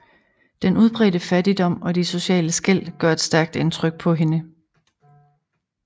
Den udbredte fattigdom og de sociale skel gør et stærkt indtryk på hende